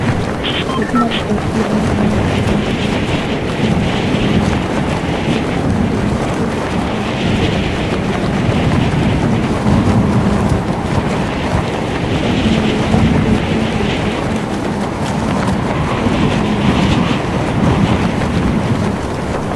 Gazety Malagasy iray amin'ny fiteny vahiny, mivoaka ny sabotsy enina amby folo desambra telo amby roampolo sy roa arivo. Amidy amin'ny vidiny arivo ariary. Misogadina eo amin'ny lohateny lehibe : momba ny fanokanana ny filoham-pirenena malagasy, Andry Nirina Rajoelina.